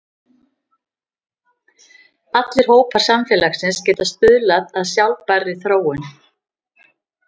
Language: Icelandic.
Allir hópar samfélagsins geta stuðlað að sjálfbærri þróun.